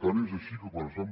tant és així que quan es van